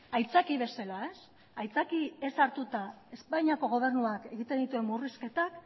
aitzaki bezala aitzakiatzat hartuta espainiako gobernuak egiten dituen murrizketak